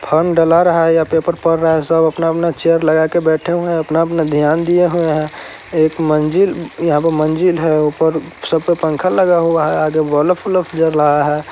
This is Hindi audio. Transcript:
फोन डला रहा है या पेपर पढ़ रहा है| सब अपना - अपना चेयर लगा के बेठे हुए हैं अपना-अपना ध्यान दिए हुए हैं| एक मंजिल यहाँ पे मंजिल है ऊपर सब पे पंखा लगा हुआ है आगे ब्लब - उल्फ जलाया है।